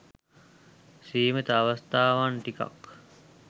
සීමිත අවස්ථාවන් ටිකක්.